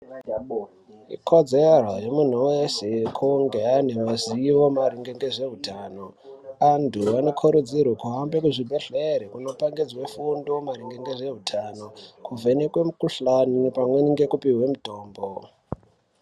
Ikodzero yemunhu wese kunge ane mazivo maringe ngezveutano. Antu anokurudzirwe kuhambe muzvibhedhlere kundopangidzwe fundo maringe ngezvahutano, kuvhenekwe mikuhlani pamweni ngekupihwe mitombo.